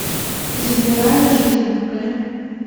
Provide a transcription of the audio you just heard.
забирая жизни покажи